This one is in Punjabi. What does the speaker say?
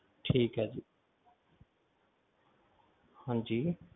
ਠੀਕ ਆ ਜੀ ਹਾਂਜੀ